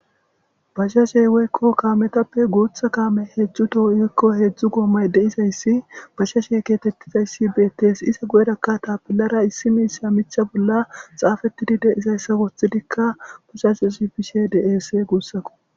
bashashey woykko kaametappe guutha kaame heedzdzu toho7ikko heedzdzu goomay deizayssi bashashe keetettizayssi beettes iza goedakka tapillara issi miisa micha bolla xaafettidi de izayssa wothidikka pashase s pishe deese guussako